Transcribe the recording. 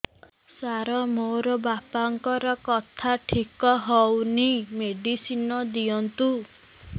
ସାର ମୋର ବାପାଙ୍କର କଥା ଠିକ ହଉନି ମେଡିସିନ ଦିଅନ୍ତୁ